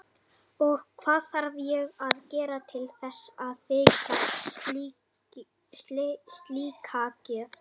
Og hvað þarf ég að gera til þess að þiggja slíka gjöf?